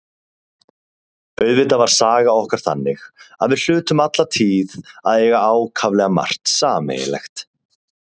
Auðvitað var saga okkar þannig að við hlutum alla tíð að eiga ákaflega margt sameiginlegt.